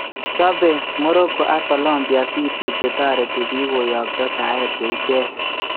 Chobe Morroco ak Colombia video che tareti biik koyakto saet che icheek